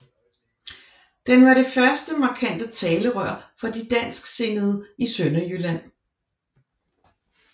Den var det første markante talerør for de dansksindede i Sønderjylland